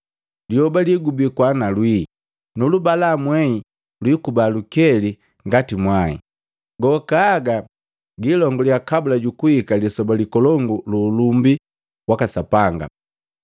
Lyoba ligubikwa na lwii, nulubalamwei lwikuba nkeli ngati mwai, gokaaga gilonguliya kabula jukuhika lisoba likolongu lu ulumbi waka Bambu.